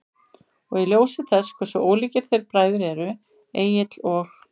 Og í ljósi þess hversu ólíkir þeir bræður eru, Egill og